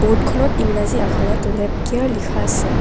Board খনত ইংৰাজী আখৰত লেপ কেয়াৰ লিখা আছে।